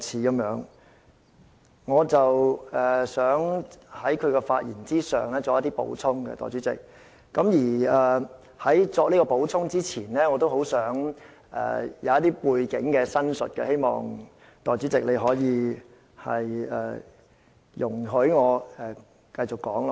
代理主席，我想就他的發言作出補充，而在我作出補充前，我想先陳述背景，希望代理主席容許我繼續說下去。